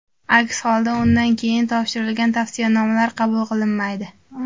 Aks holda, undan keyin topshirilgan tavsiyanomalar qabul qilinmaydi.